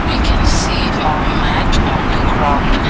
i can see a mat on the ground.